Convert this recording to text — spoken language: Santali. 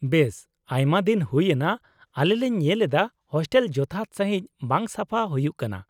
ᱵᱮᱥ ᱟᱭᱢᱟᱫᱤᱱ ᱦᱩᱭ ᱮᱱᱟ ᱟᱞᱮ ᱞᱮ ᱧᱮᱞ ᱮᱫᱟ ᱦᱳᱥᱴᱮᱞ ᱡᱚᱛᱷᱟᱛ ᱥᱟᱺᱦᱤᱡ ᱵᱟᱝ ᱥᱟᱯᱷᱟ ᱦᱩᱭᱩᱜ ᱠᱟᱱᱟ ᱾